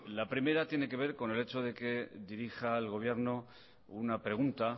la primera tiene que ver con el hecho de que dirija al gobierno una pregunta